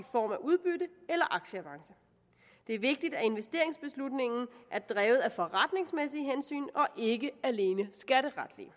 form af udbytte eller aktieavance det er vigtigt at investeringsbeslutningen er drevet af forretningsmæssige hensyn og ikke alene skatteretlige